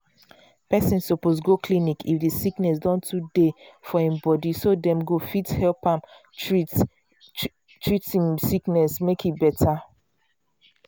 person suppose go clinic if the sickness don too they for im bodyso dem go um help am treat i'm sickness make e better